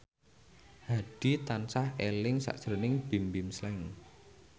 Hadi tansah eling sakjroning Bimbim Slank